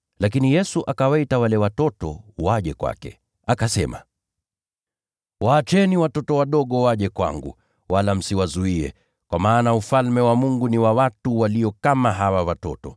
Lakini Yesu akawaita wale watoto waje kwake, akasema, “Waacheni watoto wadogo waje kwangu, wala msiwazuie, kwa maana Ufalme wa Mungu ni wa wale walio kama hawa.